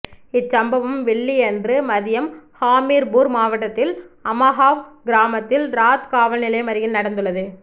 இச்சம்பவம் வெள்ளியன்று மதியம் ஹாமீர்பூர் மாவட்டத்தில் அமஹாவ் கிராமத்தில் ராத் காவல்நிலையம் அருகில் நடந்துள்ளது